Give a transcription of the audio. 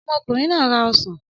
Ọmọkùnrin náà ra ọsàn.